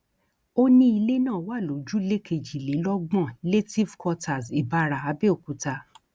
ó ní ilé náà wà lójúlé kejìlélọgbọn lehtive quarters ìbàrá abẹòkúta